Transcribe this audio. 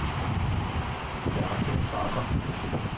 Bjarke Bagger